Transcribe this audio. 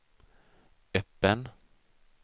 öppen